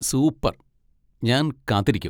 Super, ഞാൻ കാത്തിരിക്കും.